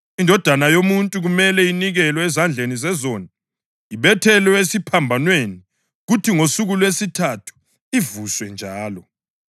‘INdodana yoMuntu kumele inikelwe ezandleni zezoni, ibethelwe esiphambanweni kuthi ngosuku lwesithathu ivuswe njalo.’ ”